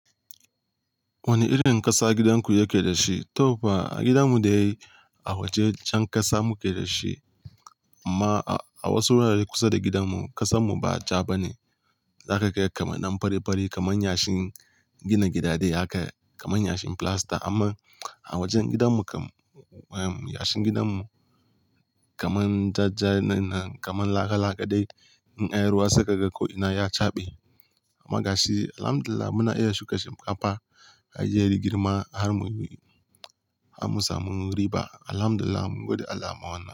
Wane irin ƙasa gidanku yake da shi? To fa, gidanmu da yai a wajen jan ƙasa muke da shi. Amma a wasu wurare kusa da gidanmu ƙasanmu ba ja ba ne. Za ka ga kamannan fari fari kamar yashin gina gida dai haka kamar yashin filasta. Amma a wajen gidanmu kam, yashin gidanmu kamar ja ja ne na kamar laka laka dai in a yi ruwa saka ga ko'ina ya caɓe. Amma gashi, alhamdulillah muna iya shuka shinkafa, har jiyya, girma har mun yi, har mun samu riba. Alhamdulillah, mungode Allah ma wannan.